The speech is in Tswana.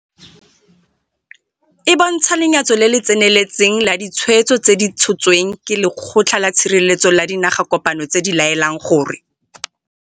E bontsha lenyatso le le tseneletseng la ditshwetso tse di tshotsweng ke Lekgotla la Tshireletso la Dinagakopano tse di laelang gore.